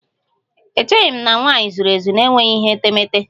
Echeghị m na nwanyị zuru ezu n'enweghị ihe etemete